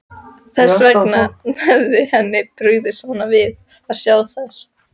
Þess vegna hefur henni brugðið svona við að sjá þær.